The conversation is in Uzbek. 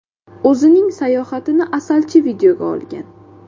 O‘zining sayohatini asalchi videoga olgan.